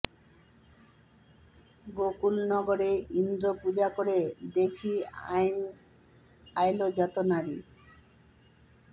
গোকুল নগরে ইন্দ্র পূজা করে দেখি আইল যত নারী